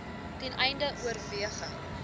ten einde oorweging